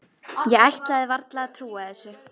Ég ætlaði varla að trúa þessu.